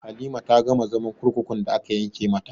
Halima ta gama zaman kurkukun da aka yanke mata